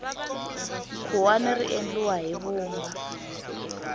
khuwani ri endliwa hi vumba